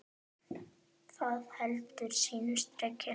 Það heldur sínu striki.